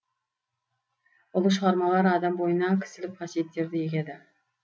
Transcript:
ұлы шығармалар адам бойына кісілік қасиеттерді егеді